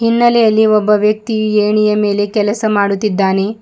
ಹಿನ್ನೆಲೆಯಲ್ಲಿ ಒಬ್ಬ ವ್ಯಕ್ತಿ ಎಣಿಯ ಮೇಲೆ ಕೆಲಸ ಮಾಡುತ್ತಿದ್ದಾನೆ.